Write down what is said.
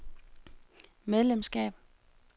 medlemskab